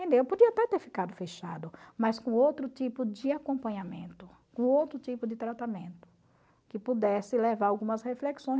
Eu podia até ter ficado fechado, mas com outro tipo de acompanhamento, com outro tipo de tratamento, que pudesse levar a algumas reflexões.